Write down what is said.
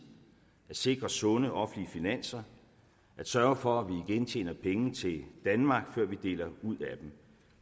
at sikre sunde offentlige finanser at sørge for at vi igen tjener penge til danmark før vi deler ud af dem